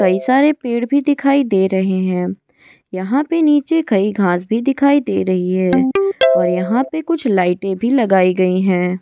कई सारे पेड़ भी दिखाई दे रहे हैं यहां पर नीचे कई घास भी दिखाई दे रही है और यहां पर कुछ लाइटें भी लगाई गई हैं।